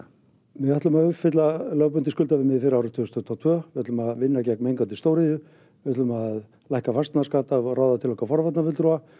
við ætlum að uppfylla lögbundið skuldaviðmið fyrir árið tvö þúsund tuttugu og tvö við ætlum að vinna gegn mengandi stóriðju við ætlum að lækka fasteignaskatta og ráða til okkar forvarnarfulltrúa